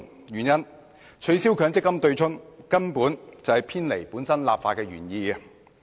原因是取消強積金對沖機制根本是偏離立法原意。